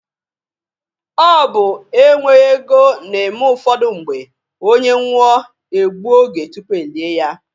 Ọ bụ e nweghi ego na-eme ụfọdụ mgbe, onye nwụọ, e gbuo oge tupu e lie ya.